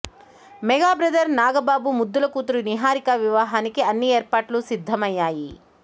mega brother నాగబాగు ముద్దుల కూతురు నిహారిక విహానికి అన్ని ఏర్పాట్లు సిద్ధమయ్యాయి